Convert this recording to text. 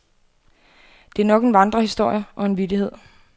Det er nok en vandrehistorie og en vittighed.